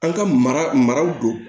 An ka maraw don